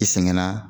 I sɛgɛnna